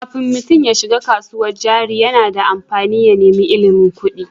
Kafin mutum ya shiga kasuwar jari, yana da amfani ya nemi ilimin kuɗi.